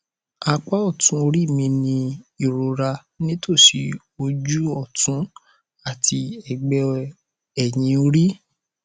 apá ọtún orí mi ń ní ìrora nítòsí ojú ọtún àti ẹgbẹ ẹyìn orí